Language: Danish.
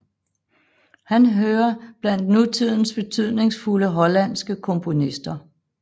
Han hører blandt nutidens betydningsfulde hollandske komponister